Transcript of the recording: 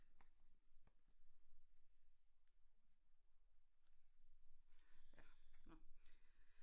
Ja nå